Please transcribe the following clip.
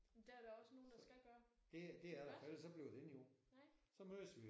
Men det er der også nogle der skal gøre iggås nej